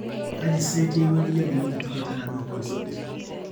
kaji saa etii ewueji nedungieki ticket enaduo concert